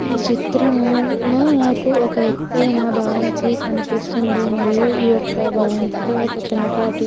ఈ చిత్రము లో నాకు ఒక ఎత్తైన భవంతి కనిపిస్తుంది మరియు ఈ యొక్క భవంతిలో ఒక చిన్నపాటి --